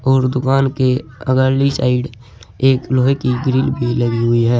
और दुकान के अगली साइड एक लोहे की ग्रिल भी लगी हुई है।